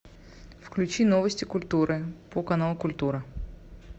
включи новости культуры по каналу культура